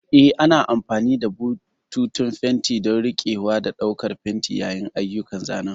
Eh, ana amfani da bututun fenti don riƙewa da ɗaukar fenti yayin ayyukan zanen.